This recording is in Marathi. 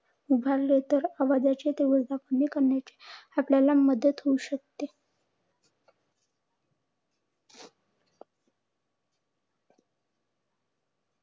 उभारले. तर आवाजाची तीव्रता कमी करण्यास आपल्याला मदत होऊ शकते.